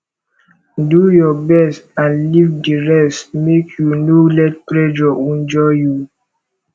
do yur best nd lif di rest mek yu no let pressure wonjur yu